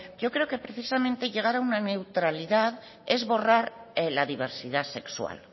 yo creo que precisamente llegar a una neutralidad es borrar la diversidad sexual